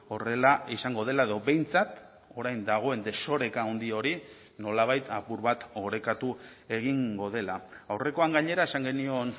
horrela izango dela edo behintzat orain dagoen desoreka handi hori nolabait apur bat orekatu egingo dela aurrekoan gainera esan genion